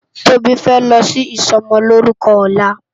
Tobi fè lò si isòmòlórùkò òlá